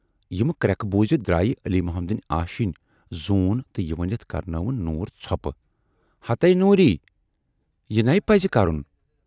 "یِم کرٮ۪کہٕ بوٗزِتھ درایہِ علی محمدٕنۍ آشینۍ زوٗن تہٕ یہِ ؤنِتھ کرنٲوٕن نوٗر ژھۅپہٕ"ہتے نوٗری، یہِ ناے پَزِ کرُن